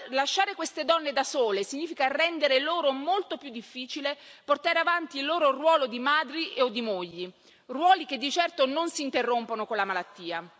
Lasciare queste donne da sole significa rendere loro molto più difficile portare avanti il loro ruolo di madri o di mogli, ruoli che di certo non si interrompono con la malattia.